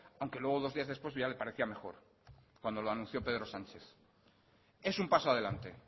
aunque luego dos días después ya le parecía mejor cuando lo anunció pedro sánchez es un paso adelante